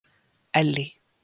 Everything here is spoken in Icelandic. Ellý